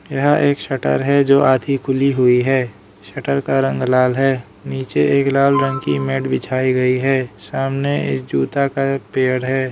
यह एक शटर है जो आधी खुली हुई है शटर का रंग लाल है नीचे एक लाल रंग की मैट बिछाई गई है सामने इस जूता का एक पेड़ है।